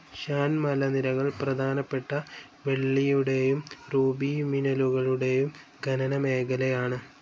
ഷാൻ മലനിരകൾ പ്രധാനപ്പെട്ട വെള്ളിയുടെയും റൂബി മിനലുകളുടെയും ഖനനമേഖലയാണ്